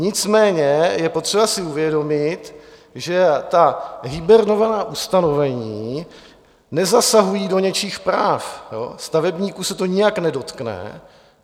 Nicméně je potřeba si uvědomit, že ta hibernovaná ustanovení nezasahují do něčích práv, stavebníků se to nijak nedotkne.